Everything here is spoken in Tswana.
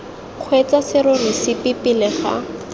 kgweetsa serori sepe pele ga